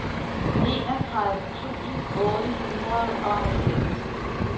enogtredive tusind otte hundrede og halvfems